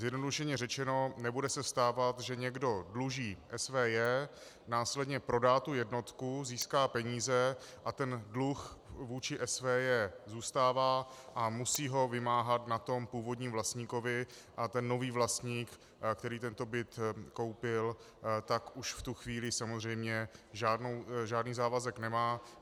Zjednodušeně řečeno - nebude se stávat, že někdo dluží SVJ, následně prodá tu jednotku, získá peníze a ten dluh vůči SVJ zůstává a musí ho vymáhat na tom původním vlastníkovi a ten nový vlastník, který tento byt koupil, tak už v tu chvíli samozřejmě žádný závazek nemá.